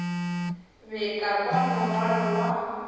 be ka kwa morwalo wa